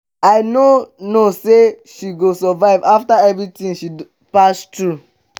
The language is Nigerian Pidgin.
i no know say she go survive after everything she pass through